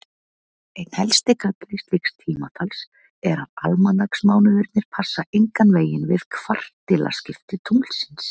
Einn helsti galli slíks tímatals er að almanaksmánuðirnir passa engan veginn við kvartilaskipti tunglsins.